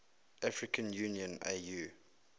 african union au